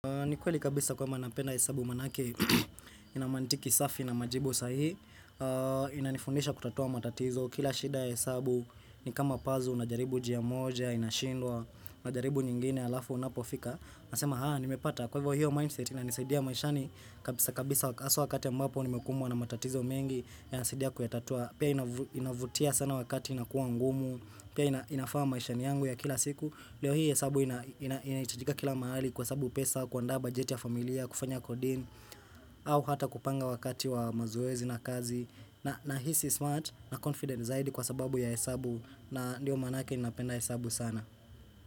Ni kweli kabisa kwamba napenda hesabu manake ina mantiki safi na majibu sahihi Inanifundisha kutatua matatizo kila shida ya hesabu ni kama pazi unajaribu njia moja, inashindwa, unajaribu nyingine halafu unapofika, unasema haya nimepata. Kwa hivyo hiyo mindset inanisaidia maishani kabisa kabisa hasa wakati ambapo nimekumbwa na matatizo mengi yananisidia kuyatatua, pia inavutia sana wakati inakuwa ngumu, pia inafaa maishani yangu ya kila siku leo hii hesabu inahitajika kila mahali kwa sababu pesa, kuandaa bajeti ya familia, kufanya kodin au hata kupanga wakati wa mazoezi na kazi na hisi smart na confident zaidi kwa sababu ya hesabu na ndio manake ninapenda hesabu sana.